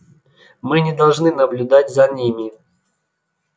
мы не должны наблюдать за ними